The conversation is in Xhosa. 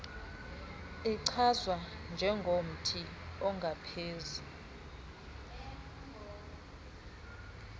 ichazwa njengomthi ongaphezu